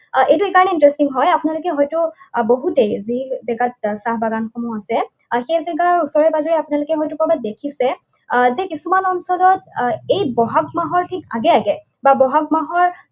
এইটো এই কাৰণেই interesting হয় আপোনালোকে হয়তো বহুতেই যি জেগাত চাহ বাগানসমূহ আছে, সেই জেগাত উচৰে পাজৰে আপোনালোকে হয়তো কৰবাত দেখিছে, যে কিছুমান অঞ্চলত এই বহাগ মাহৰ ঠিক আগে আগে বা বহাগ মাহৰ